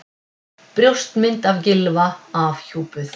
Brjóstmynd af Gylfa afhjúpuð